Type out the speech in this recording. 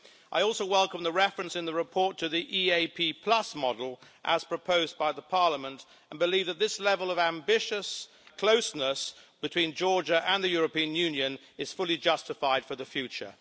I also welcome the reference in the report to the EaP model, as proposed by the Parliament, and believe that this level of ambitious closeness between Georgia and the European Union is fully justified for the future.